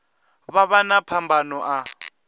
vha vha na phambano a